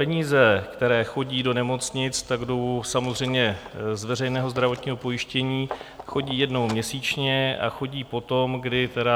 Peníze, které chodí do nemocnic, tak jdou samozřejmě z veřejného zdravotního pojištění, chodí jednou měsíčně a chodí potom, kdy tedy